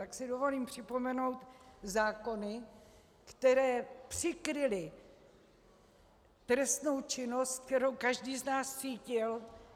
Tak si dovolím připomenout zákony, které přikryly trestnou činnost, kterou každý z nás cítil.